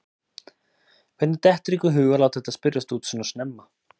Hvernig dettur ykkur í hug að láta þetta spyrjast út svona snemma?